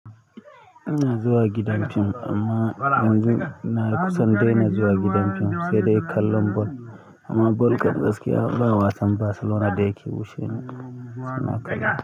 Ina zuwa gidan fim amma yanzu na kusan dai na zuwa gidan fim sai dai kallon ball. Amma ball kan gaskiya ba wasan Barcelona da yske wuce ni ina kallo.